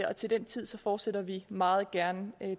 og til den tid fortsætter vi meget gerne